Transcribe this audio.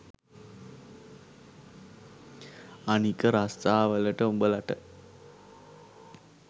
අනික රස්සා වලට උඹලට